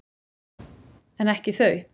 En ekki þau.